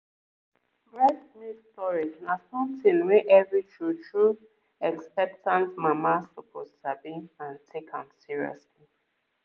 breast milk storage na something wey every true-true expectant mama suppose sabi and take am seriously